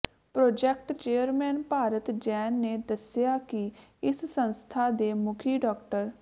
project chairman Bharat Jain ਨੇ ਦੱਸਿਆ ਕਿ ਇਸ ਸੰਸਥਾ ਦੇ ਮੁਖੀ ਡਾ